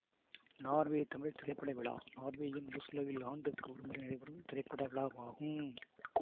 Norway Tamil திரைப்பட விழா நார்வேயின் ஓஸ்லோவில் ஆண்டுக்கு ஒருமுறை நடைபெறும் திரைப்பட விழா ஆகும்